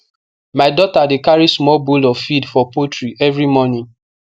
my daughter dey carry small bowl of feed for poultry every morning